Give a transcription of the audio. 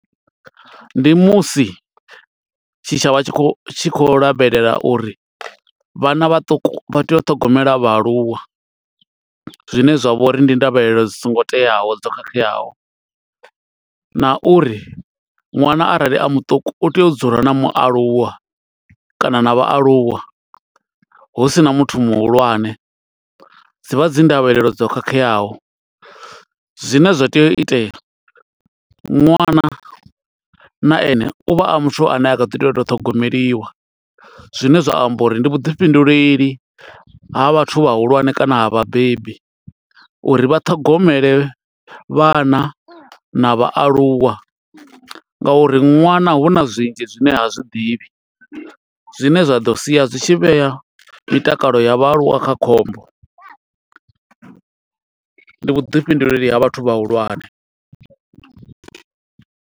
Ndi musi tshitshavha tshi khou, tshi khou lavhelela uri vhana vhaṱuku vha tea u ṱhogomela vhaaluwa. Zwine zwa vho uri ndi ndavhelelo dzi songo teaho, dzo khakheaho. Na uri ṅwana arali a muṱuku, u tea u dzula na mualuwa kana na vhaaluwa, husina muthu muhulwane. Dzi vha dzi ndavhelelo dzo khakheaho, zwine zwa tea u itea, ṅwana na ene uvha a muthu ane a kha ḓi to tea u ito ṱhogomeliwa. Zwine zwa amba uri ndi vhuḓifhinduleli ha vhathu vha hulwane kana ha vhabebi, uri vhaṱhogomele vhana na vhaaluwa nga uri ṅwana huna zwinzhi zwine ha zwiḓivhi. Zwine zwa ḓo sia zwi tshi vhea mitakalo ya vhaaluwa kha khombo. Ndi vhuḓifhinduleli ha vhathu vhahulwane.